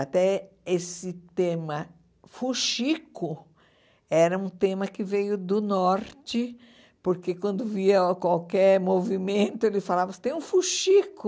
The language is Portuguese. Até esse tema fuxico era um tema que veio do Norte, porque quando via qualquer movimento ele falava, você tem um fuxico.